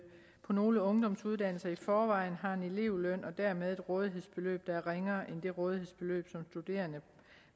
på nogle ungdomsuddannelser i forvejen har elevløn og dermed et rådighedsbeløb der er ringere end det rådighedsbeløb som studerende